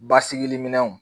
Basigi minɛnw